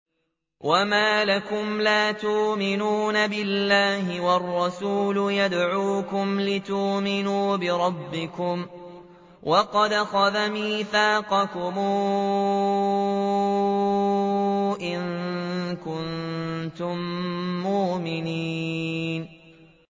وَمَا لَكُمْ لَا تُؤْمِنُونَ بِاللَّهِ ۙ وَالرَّسُولُ يَدْعُوكُمْ لِتُؤْمِنُوا بِرَبِّكُمْ وَقَدْ أَخَذَ مِيثَاقَكُمْ إِن كُنتُم مُّؤْمِنِينَ